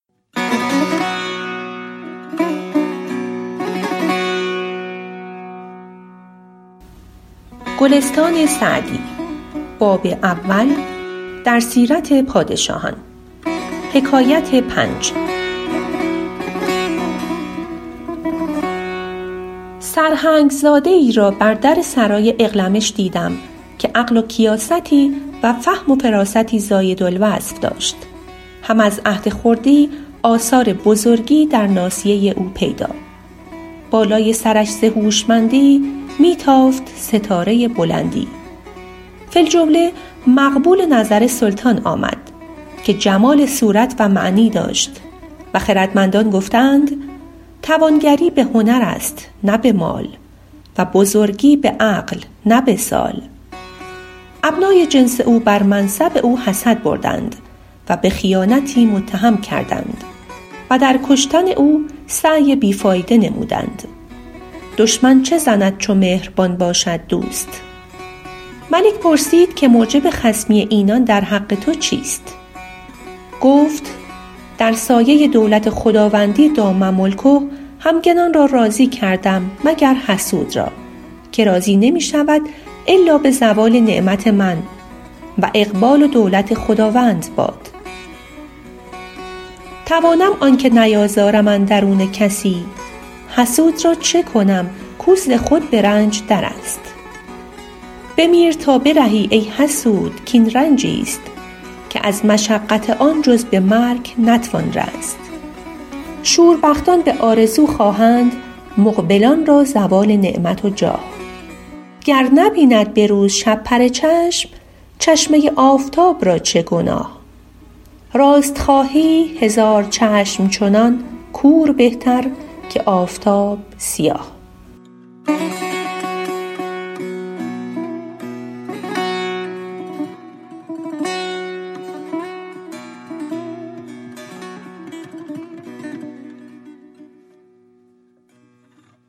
سرهنگ زاده ای را بر در سرای اغلمش دیدم که عقل و کیاستی و فهم و فراستی زاید الوصف داشت هم از عهد خردی آثار بزرگی در ناصیه او پیدا بالای سرش ز هوشمندی می تافت ستاره بلندی فی الجمله مقبول نظر سلطان آمد که جمال صورت و معنی داشت و خردمندان گفته اند توانگری به هنر است نه به مال و بزرگی به عقل نه به سال ابنای جنس او بر منصب او حسد بردند و به خیانتی متهم کردند و در کشتن او سعی بی فایده نمودند دشمن چه زند چو مهربان باشد دوست ملک پرسید که موجب خصمی اینان در حق تو چیست گفت در سایه دولت خداوندی دام ملکه همگنان را راضی کردم مگر حسود را که راضی نمی شود الا به زوال نعمت من و اقبال و دولت خداوند باد توانم آنکه نیازارم اندرون کسی حسود را چه کنم کو ز خود به رنج در است بمیر تا برهی ای حسود کاین رنجی ست که از مشقت آن جز به مرگ نتوان رست شوربختان به آرزو خواهند مقبلان را زوال نعمت و جاه گر نبیند به روز شپره چشم چشمه آفتاب را چه گناه راست خواهی هزار چشم چنان کور بهتر که آفتاب سیاه